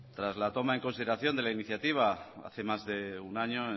tras la toma en consideración de la iniciativa hace más de un año